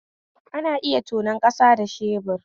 Ana iya tonon kasa da shebur